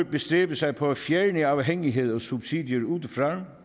bestræbe sig på at fjerne afhængighed og subsidier udefra